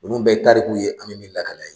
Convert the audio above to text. Olu bɛɛ ye tariku ye an bɛ minnu lakale